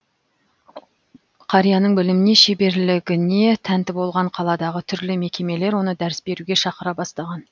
қарияның біліміне шеберлігіне тәнті болған қаладағы түрлі мекемелер оны дәріс беруге шақыра бастаған